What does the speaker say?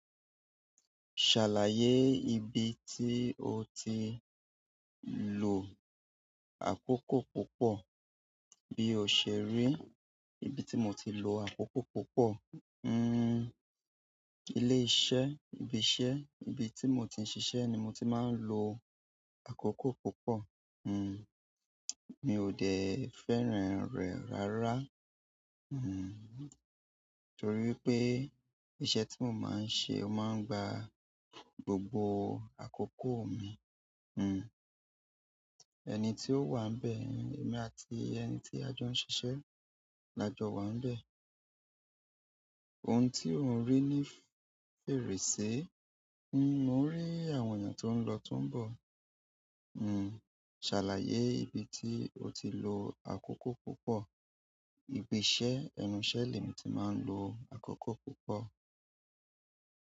Ṣàlàyé ibi tí o ti lò àkókò púpọ̀. Bí o ṣe rí, ibi tí mo ti lo àkókò púpọ̀, hun, ilé iṣẹ́ ibi iṣẹ́ ibi tí mo ti ń ṣiṣẹ́ ni mo ti máa ń lo àkókò púpọ̀. Hmmm, mi ò dẹ̀ fẹ́ràn rẹ̀ rárá, hmmm torí wípé iṣẹ́ tí mo máa ń ṣe ó máa ń gba gbogbo àkókò mi. Hmmm, ẹni tí ó wà ń bẹ́ẹ̀, èmi àti ẹni tí a jọ ń ṣiṣẹ́ la jọ wà ń bẹ́ẹ̀. Ohun tí o ń rí ní fèrèsé. Hmmm, mo ń rí àwọn èèyàn tó ń lọ, tó ń bọ̀. Hmmm. Ṣàlàyé ibi tí o ti lò àkókò púpọ̀. Ibi iṣẹ́, ẹnu iṣẹ́ lémi ti máa ń lo àkókò púpọ̀.